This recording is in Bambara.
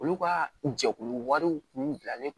Olu ka jɛkulu wariw tun bilalen don